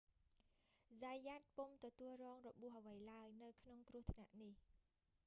zayat ពុំទទួលរងរបួសអ្វីឡើយ នៅក្នុងគ្រោះថ្នាក់នេះ